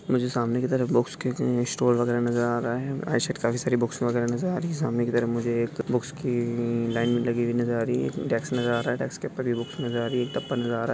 मुझे सामने की तरफ बॉक्स के म्म स्टोर वगेरा नजर आ रहा है काफी सारी बुक्स वगेरा नजर आ रही है सामने की तरफ मुझे एक बुक्स की लाइन लगी हुई नजर आ रही है डेक्स नजर आ रहा है डेक्स के ऊपर भी बुक्स नजर आ रही आ रहा है।